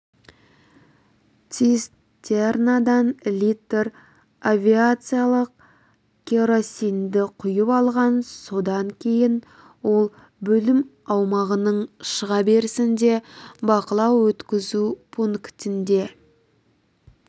цистернадан литр авиациялық керосинді құйып алған содан кейін ол бөлім аумағының шыға берісінде бақылау-өткізу пунктінде